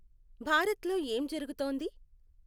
భారత్లో ఏం జరుగుతోంది